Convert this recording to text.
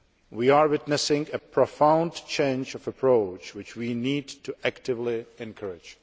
We are witnessing a profound change of approach, which we need to actively encourage.